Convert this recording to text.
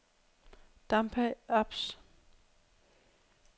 Dampa ApS